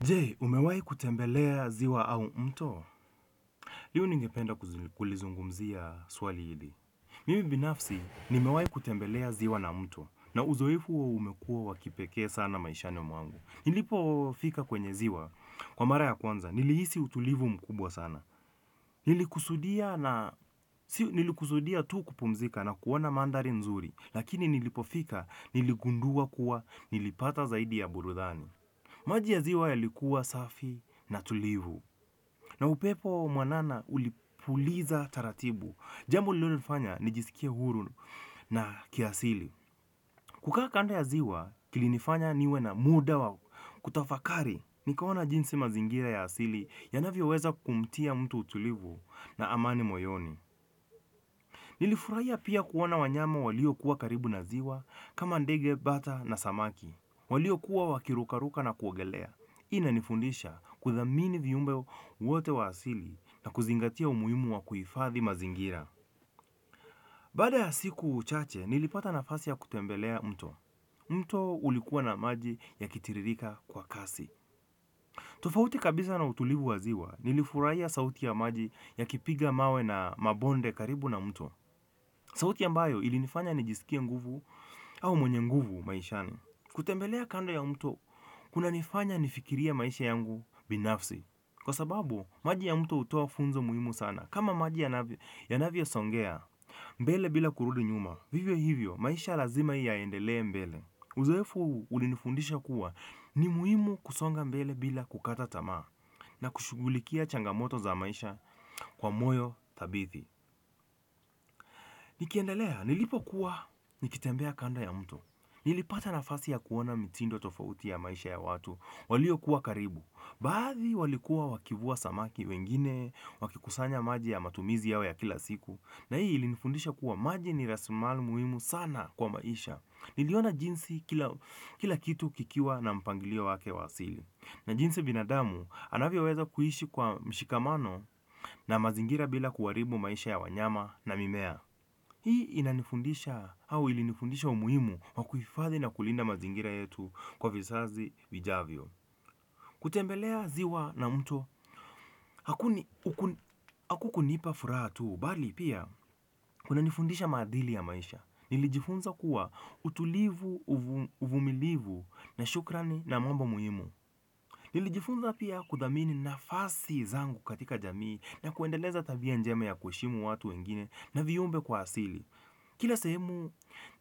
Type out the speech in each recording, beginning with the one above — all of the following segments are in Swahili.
Je umewai kutembelea ziwa au mto. Liu ningependa kulizungumzia swali hili. Mimi binafsi, nimewai kutembelea ziwa na mto. Na uzoefu huo umekua wakipekee sana maishani mwangu. Nilipo fika kwenye ziwa. Kwa mara ya kwanza, niliisi utulivu mkubwa sana. Nilikusudia tu kupumzika na kuona manthari mzuri lakini nilipo fika, niligundua kuwa, nilipata zaidi ya burudani. Maji ya ziwa yalikuwa safi na tulivu. Na upepo mwanana ulipuliza taratibu. Jambu lilio nifanya nijisikie huru na kiasili. Kukaa kanda ya ziwa kilinifanya niwe na muda wa kutafakari. Nikaona jinsi mazingira ya asili ya navio weza kumtia mtu utulivu na amani moyoni. Nilifuraiya pia kuona wanyama walio kuwa karibu na ziwa kama ndege, bata na samaki. Walio kuwa wakirukaruka na kuogelea. Ina nifundisha kuthamini viumbe wote wa asili na kuzingatia umuhimu wa kuifathi mazingira. Baada ya siku chache, nilipata nafasi ya kutembelea mto. Mto ulikuwa na maji yakitiririka kwa kasi. Tofauti kabisa na utulivu waziwa nilifuraiya sauti ya maji yakipiga mawe na mabonde karibu na mto sauti ambayo ilinifanya nijisikie nguvu au mwenye nguvu maishani kutembelea kando ya mto kunanifanya nifikirie maisha yangu binafsi kwasababu maji ya mto hutoa funzo muhimu sana kama maji yanavyosongea mbele bila kurudi nyuma. Vivyo hivyo maisha lazima yaendelee mbele uzoefu ulinifundisha kuwa ni muhimu kusonga mbele bila kukata tamaa na kushugulikia changamoto za maisha kwa moyo thabithi. Nikiendelea nilipokua nikitembea kando ya mto nilipata nafasi ya kuona mitindo tofauti ya maisha ya watu. Walio kuwa karibu. Baadhi walikuwa wakivua samaki wengine wakikusanya maji ya matumizi yao ya kila siku. Na hii ilinifundisha kuwa maji ni rasimali muhimu sana kwa maisha. Niliona jinsi kila kitu kikiwa na mpangilio wake wasili. Na jinsi binadamu anavyoweza kuishi kwa mshikamano na mazingira bila kuaribu maisha ya wanyama na mimea. Hii inanifundisha au ilinifundisha umuhimu wakuhifadhi na kulinda mazingira yetu kwa visazi vijavyo. Kutembelea ziwa na mto, haku kunipa furahatu, bali pia kunanifundisha maadili ya maisha. Nilijifunza kuwa utulivu, uvumilivu na shukrani na mambo muhimu nilijifunza pia kudhamini nafasi zangu katika jamii na kuendeleza tabia njema ya kueshimu watu wengine na viumbe kwa asili kila semu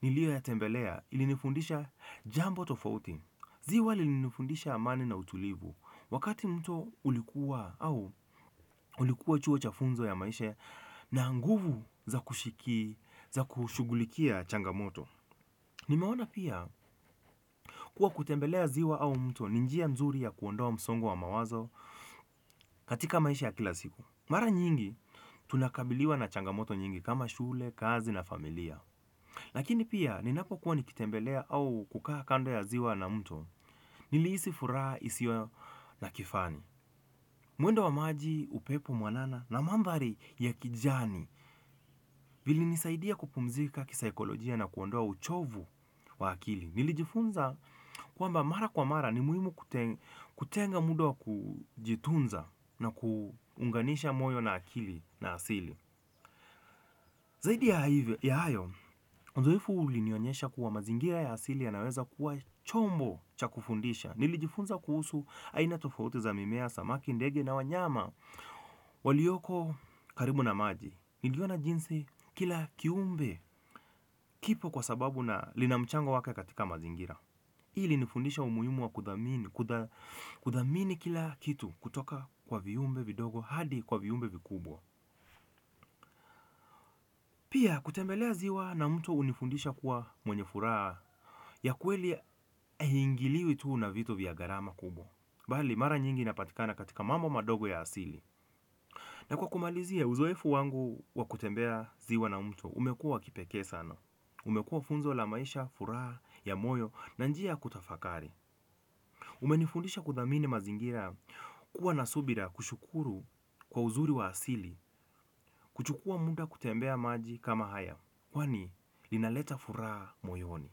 nilio yatembelea ilinifundisha jambo tofauti ziwa lilinifundisha amani na utulivu wakati mto ulikuwa au ulikuwa chuo chafunzo ya maishe na nguvu za kushughulikia changamoto. Nimeona pia kuwa kutembelea ziwa au mto ninjia mzuri ya kuondoa msongo wa mawazo katika maisha ya kila siku. Mara nyingi tunakabiliwa na changamoto nyingi kama shule, kazi na familia. Lakini pia ninapokuwa nikitembelea au kukaa kando ya ziwa na mto niliisi furaa isio na kifani. Muendo wa maji upepo mwanana na mambari ya kijani. Vili nisaidia kupumzika kisaikolojia na kuondoa uchovu wa akili nilijifunza kuamba mara kwa mara ni muhimu kutenga muda wa kujitunza na kuunganisha moyo na akili na asili zaidi ya hayo, uzoefu ulinionyesha kuwa mazingira ya asili yanaweza kuwa chombo chakufundisha nilijifunza kuhusu aina tofauti za mimea samaki ndege na wanyama walioko karibu na maji niliona jinsi kila kiumbe kipo kwa sababu na linamchango wake katika mazingira ili nifundisha umuhimu wa kudhamini kila kitu kutoka kwa viumbe vidogo hadi kwa viumbe vikubwa pia kutembelea ziwa na mtu unifundisha kuwa mwenye furaha ya kweli haingiliwi tu na vitu vya garama kubo bali mara nyingi napatikana katika mambo madogo ya asili na kwa kumalizia uzoefu wangu wakutembea ziwa na mtu, umekuwa kipeke sana. Umekuwa funzo la maisha, furaha, ya moyo na njia ya kutafakari. Umenifundisha kudhamini mazingira kuwa nasubira kushukuru kwa uzuri wa asili, kuchukua muda kutembea maji kama haya. Kwani inaleta futaha moyoni.